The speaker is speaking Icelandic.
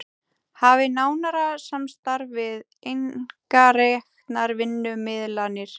Hafi nánara samstarf við einkareknar vinnumiðlanir